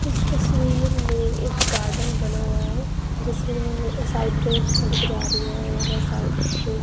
इस तस्वीर में एक गार्डन बना हुआ है जिसमें साइड पे एक सड़क जा रही है और साइड के--